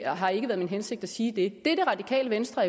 har ikke været min hensigt at sige det det det radikale venstre